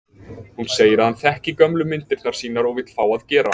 Hún segir að hann þekki gömlu myndirnar sínar og vill fá að gera